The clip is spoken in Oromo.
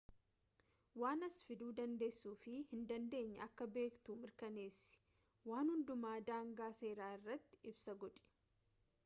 waan as fiduu dandeessuu fi hin dandeenye akka beektu mirkaneessi waan hundumaa daangaa seeraa irratti ibsa godhi